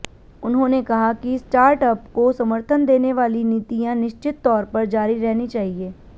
उन्होंने कहा कि स्टार्टअप को समर्थन देने वाली नीतियां निश्चित तौर पर जारी रहनी चाहिए